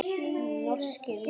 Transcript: Norskir menn.